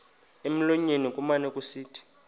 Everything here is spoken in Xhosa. emlonyeni kumane kusithi